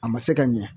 A ma se ka ɲɛ